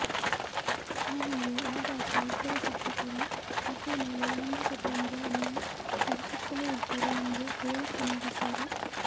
ಆಮೇಲೆ ಆಗಾಗ ಇಬ್ಬರು ಶಿಕ್ಷಕರೂ ಆಕೆಯ ಮೇಲೆ ಲೈಂಗಿಕ ದೌರ್ಜನ್ಯ ನಡೆಸುತ್ತಲೇ ಇದ್ದರು ಎಂದು ಹೇಳಿಕೆ ನೀಡಿದ್ದಾಳೆ